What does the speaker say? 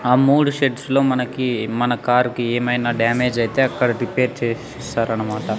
ఆ మూడు షెడ్స్ లో మనకి మన కార్ కి ఏమైనా డ్యామేజ్ అయితే అక్కడ రిపేర్ చేస్ స్తారన్నమాట.